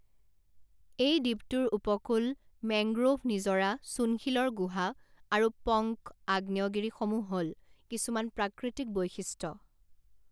এই দ্বীপটোৰ উপকূল, মেংগ্ৰোভ নিজৰা, চূণশিলৰ গুহা আৰু পংক আগ্নেয়গিৰিসমূহ হ'ল কিছুমান প্ৰাকৃতিক বৈশিষ্ট্য।